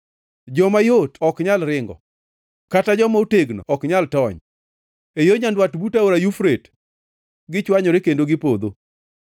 “Joma yot ok nyal ringo kata joma otegno ok nyal tony. E yo nyandwat but Aora Yufrate gichwanyore kendo gipodho.